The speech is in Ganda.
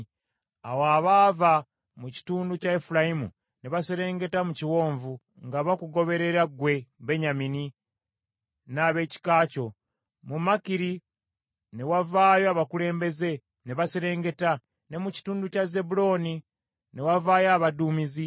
Awo abaava mu kitundu kya Efulayimu ne baserengeta mu kiwonvu, nga bakugoberera ggwe, Benyamini, n’ab’ekika kyo. Mu Makiri ne wavaayo abakulembeze, ne baserengeta, ne mu kitundu kya Zebbulooni ne wavaayo abaduumizi.